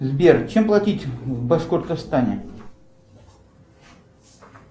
сбер чем платить в башкортостане